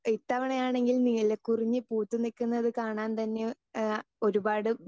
speaker 2 ഇത്തവണ ആണെങ്കിൽ നീലക്കുറിഞ്ഞി പൂത്തു നിൽക്കുന്നത് കാണാൻ തന്നെ ഏഹ് ഒരുപാട്